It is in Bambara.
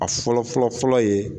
A fɔlɔ fɔlɔ fɔlɔ ye